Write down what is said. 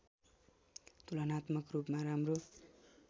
तुलनात्मक रूपमा राम्रो